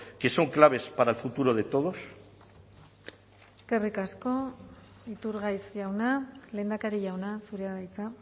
que son claves para el futuro de todos eskerrik asko iturgaiz jauna lehendakari jauna zurea da hitza